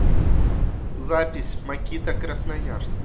запись макита красноярск